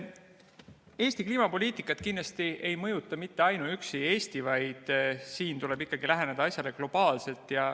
Eesti kliimapoliitikat kindlasti ei mõjuta mitte ainuüksi Eesti, vaid siin tuleb ikkagi läheneda asjale globaalselt.